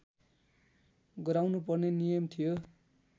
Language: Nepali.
गराउनुपर्ने नियम थियो